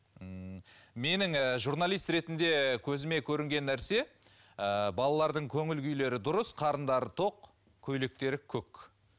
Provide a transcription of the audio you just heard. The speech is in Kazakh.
ммм менің ііі журналист ретінде көзіме көрінген нәрсе ііі балалардың көңіл күйлері дұрыс қарындары тоқ көйлектері көк